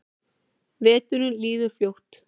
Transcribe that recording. Veturinn líður fljótt.